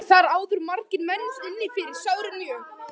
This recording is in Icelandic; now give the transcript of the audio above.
Voru þar áður margir menn inni fyrir sárir mjög.